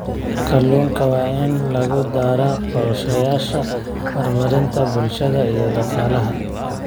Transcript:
Kalluunka waa in lagu daraa qorshayaasha horumarinta bulshada iyo dhaqaalaha.